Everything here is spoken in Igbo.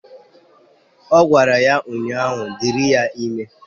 Ọ gwara ya ụnyaahụ " Dịrị ya ime"